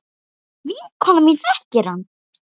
Vinkona mín þekkir hann.